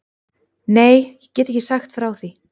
Nei, ég get ekki sagt frá því.